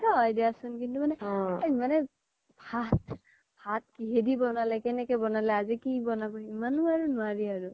সেইতো হয় দিয়াচোন কিন্তু মানে ভাত ভাত কিহেদি বনালে কেনেকে বনালে আজি কি বনাব ইমানো আৰু নোৱাৰি আৰু